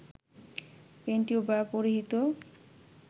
panty ও bra পরিহিত